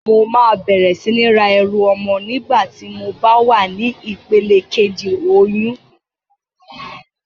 Mo máa bẹ̀rẹ̀ sí ní ra ẹrù ọmọ nígbà tí mo bá wà ní ìpele kejì oyún.